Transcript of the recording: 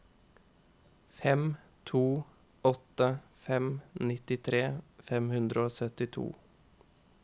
fem to åtte fem nittitre fem hundre og syttito